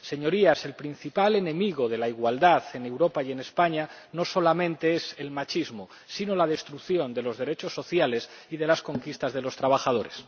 Señorías, el principal enemigo de la igualdad en Europa y en España no solamente es el machismo, sino la destrucción de los derechos sociales y de las conquistas de los trabajadores.